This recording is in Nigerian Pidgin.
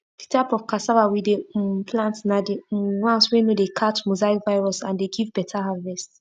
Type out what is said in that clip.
the type of cassava we dey um plant na the um ones wey no dey catch mosaic virus and dey give better harvest